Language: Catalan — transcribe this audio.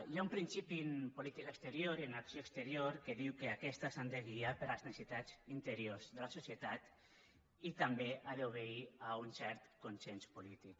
hi ha un principi en política exterior i en acció exterior que diu que aquestes s’han de guiar per les necessitats interiors de la societat i també han d’obeir a un cert consens polític